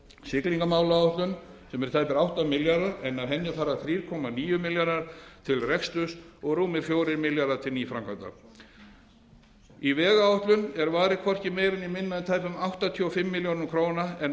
siglingamálaáætlun sem er tæpir átta milljarðar en af henni fara þriggja níu milljarðar til rekstrar og rúmir fjórir milljarðar til framkvæmd fjórði í vegáætlun er varið hviorki meira né minna en tæpum áttatíu og fimm milljörðum króna en af